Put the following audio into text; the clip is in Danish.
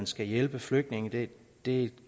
skal hjælpe flygtninge det det